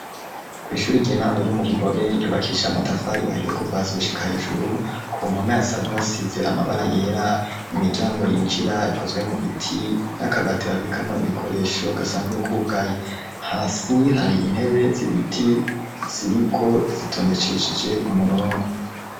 ku ishuri igihe intabwo ryo mu bigobe ryubakisha amatafari ahiye kuvahasi gushika hejuru ku mpome asanzwe hasize amabara yera imiryango yinjira ikozwe mu biti n'akabati babikamo ibikoresho gasanzwe kubwaye hasi hari intebe z'ibiti ziriko zitondecesheje umurongo